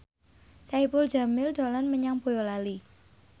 Saipul Jamil dolan menyang Boyolali